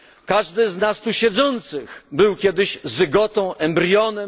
Każdy z nas tu siedzących był kiedyś zygotą, embrionem.